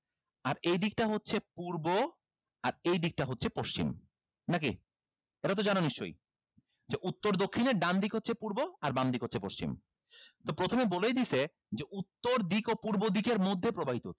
আর এইদিকটা হচ্ছে পূর্ব আর এইদিকটা হচ্ছে পশ্চিম নাকি এটাতো জানো নিশ্চই যে উত্তর দক্ষিণের ডান দিক হচ্ছে পূর্ব আর বামদিক হচ্ছে পশ্চিম তো প্রথমে বলেই দিছে যে উত্তর দিক ও পূর্ব দিকের মধ্যে প্রবাহিত হচ্ছে